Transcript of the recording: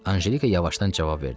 Anjelika yavaşdan cavab verdi.